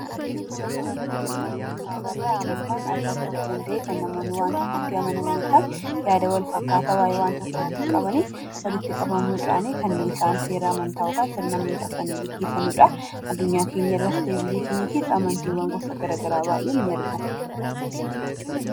Suuraa kanaa gadii irratti kan argamu mana amantaa dha. Manni amantaa bakka itti amantii ofii gaggeeffatan yoo ta'u addunyaa kana irra amantaa gosa addaa addaatu jira.